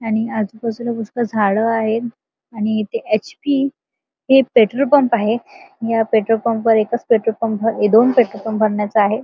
आणि आजूबाजूला पुष्कळ झाड आहे आणि इथ एच.पी. हे पेट्रोल पंप आहे या पेट्रोल पंपवर एकच दोन पेट्रोल पंप भरण्याच आहे.